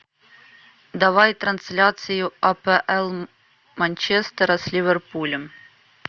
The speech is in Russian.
давай трансляцию апл манчестера с ливерпулем